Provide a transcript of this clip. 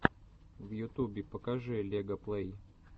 в ютубе покажи лега плэй